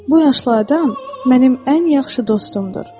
Bu yaşlı adam mənim ən yaxşı dostumdur.